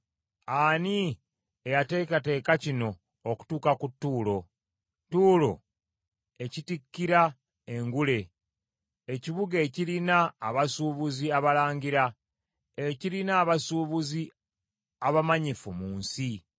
Ani eyateekateeka kino okutuuka ku Tuulo, Tuulo ekitikkira engule, ekibuga ekirina abasuubuzi abalangira, ekirina abasuubuzi abamanyifu mu nsi?